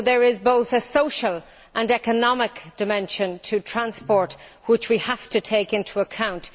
So there is both a social and an economic dimension to transport which we have to take into account.